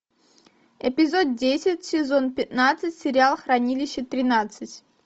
эпизод десять сезон пятнадцать сериал хранилище тринадцать